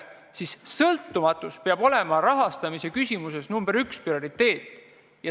Sõltumatu kontroll rahastamise küsimuses peab olema nr 1 prioriteet.